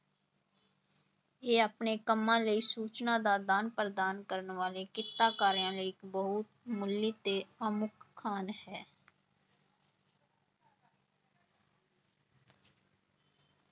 ਇਹ ਆਪਣੇ ਕੰਮਾਂ ਲਈ ਸੂਚਨਾ ਦਾ ਆਦਾਨ ਪ੍ਰਦਾਨ ਕਰਨ ਵਾਲੇ ਕਿੱਤਾਕਾਰਿਆਂ ਲਈ ਬਹੁਮੁੱਲੀ ਤੇ ਅਮੁੱਕ ਖਾਨ ਹੈ।